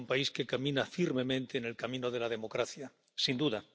Es un país que camina firmemente en el camino de la democracia, sin duda.